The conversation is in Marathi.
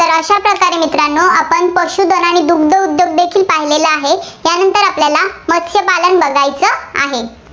तर मित्रांनो आपण पशूधन आणि दुग्ध उद्योग देखील पाहिलेला आहे. त्यानंतर आता आपल्याला मत्स्यपालन बघायचं आहे.